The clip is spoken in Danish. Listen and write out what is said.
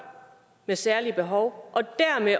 med særlige behov og dermed